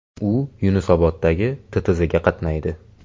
U Yunusoboddagi TTZga qatnaydi.